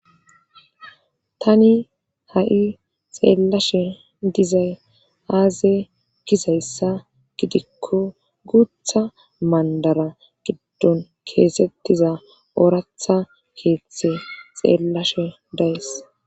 tani ha7i xeellashe dizay aaze gizayssa gidikko guutha mandara giddon keesettiza oratha keethtthe xeellashe days